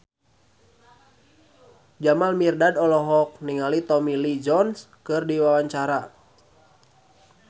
Jamal Mirdad olohok ningali Tommy Lee Jones keur diwawancara